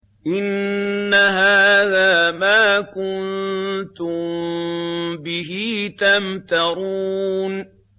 إِنَّ هَٰذَا مَا كُنتُم بِهِ تَمْتَرُونَ